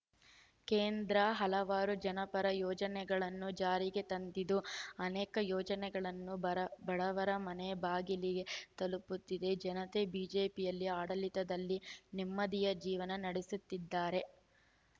ಕೇಂದ್ರ ಹಲವಾರು ಜನಪರ ಯೋಜನೆಗಳನ್ನು ಜಾರಿಗೆ ತಂದಿದ್ದು ಅನೇಕ ಯೋಜನೆಗಳು ಬರ ಬಡವರ ಮನೆ ಬಾಗಿಲಿಗೆ ತಲುಪುತ್ತಿದ್ದು ಜನತೆ ಬಿಜೆಪಿ ಆಡಳಿತದಲ್ಲಿ ನೆಮ್ಮದಿಯ ಜೀವನ ನಡೆಸುತ್ತಿದ್ದಾರೆ